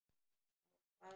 Þá hvað?